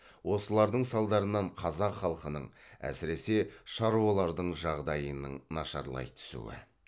осылардың салдарынан қазақ халқының әсіресе шаруалардың жағдайының нашарлай түсуі